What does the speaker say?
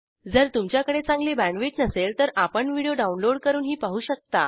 जर तुमच्याकडे चांगली बॅण्डविड्थ नसेल तर आपण व्हिडिओ डाउनलोड करूनही पाहू शकता